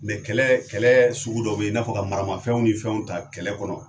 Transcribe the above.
kɛlɛ kɛlɛ sugu dɔ bɛ yen i n'a fɔ ka maramafɛnw ni fɛnw ta kɛlɛ kɔnɔ